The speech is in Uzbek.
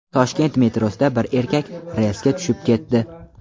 Toshkent metrosida bir erkak relsga tushib ketdi.